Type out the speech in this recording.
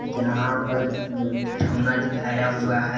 जहां पर दिखाया हुआ है।